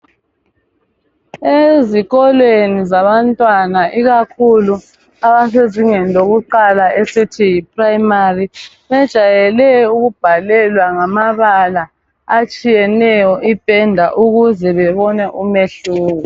Ezikolweni zabantwana ikakhulu abasezingeni lokuqala esithi yiprimary bajayele ukubhalelwa ngamabala atshiyeneyo ipenda ukuze bebone umehluko.